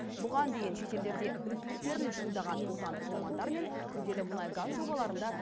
бұған дейін шетелдерде біліктіліктерін шындаған отандық мамандар мен күрделі мұнайгаз жобаларында